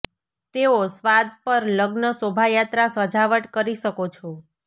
તેઓ સ્વાદ પર લગ્ન શોભાયાત્રા સજાવટ કરી શકો છો